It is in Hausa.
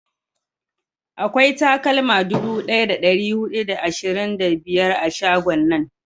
akwai takalma dubu daya da dari hudu da ashirin da biyar a shagon nan